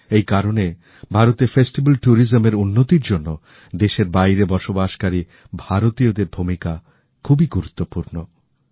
এই কারণে ভারতে উতসব পর্যটনের উন্নতির জন্য দেশের বাইরে বসবাসকারী ভারতীয়দের ভূমিকা খুবই গুরুত্বপুর্ণ